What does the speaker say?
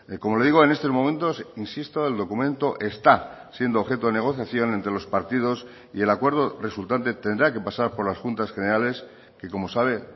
como le digo en estos momentos insisto el documento está siendo objeto de negociación entre los partidos y el acuerdo resultante tendrá que pasar por las juntas generales que como sabe